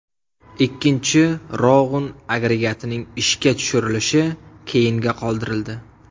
Ikkinchi Rog‘un agregatining ishga tushirilishi keyinga qoldirildi.